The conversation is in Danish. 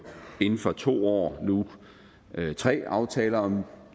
inden for to år forsøgt nu tre aftaler om